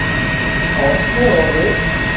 Árni og Rut.